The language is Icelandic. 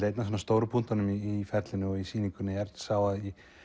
einn af stóru punktunum í ferlinu og í sýningunni er sá að